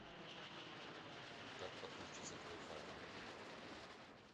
как подключиться к вай фаю